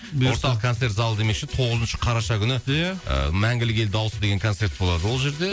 бұйырса концерт залы демекші тоғызыншы қараша күні ия ы мәңгілік ел дауысы деген концерт болады ол жерде